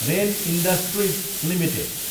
rain Industries Ltd